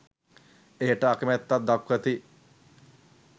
එයට අකැමැත්තක් දක්වති.